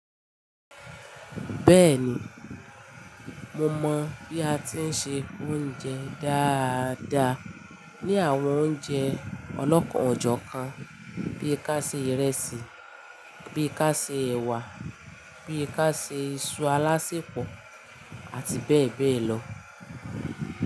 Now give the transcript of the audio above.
Bẹ́ẹ̀ni, mo mọ bí a ti ń se oúnjẹ dáadáa, ní àwọn oúnjẹ ọlọ́kọ̀ ọ̀jọ̀ kan, bí i ká ṣe ìrẹsì, bí i ká ṣe ẹ̀wà, bí i ká ṣe iṣu alásèpọ̀ àti bẹ́ẹ̀ bẹ́ẹ̀ lọ.